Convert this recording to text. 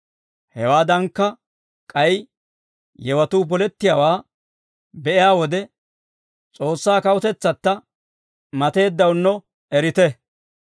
Hewaadankka k'ay yewatuu polettiyaawaa be'iyaa wode, S'oossaa Kawutetsatta mateeddawunno erite.